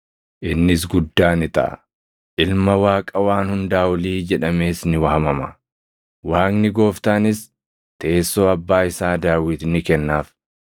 Innis guddaa ni taʼa; Ilma Waaqa Waan Hundaa Olii jedhamees ni waamama. Waaqni Gooftaanis teessoo Abbaa isaa Daawit ni kennaaf;